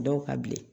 Dɔw ka bilen